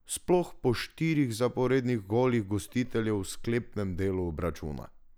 Sploh po štirih zaporednih golih gostiteljev v sklepnem delu obračuna.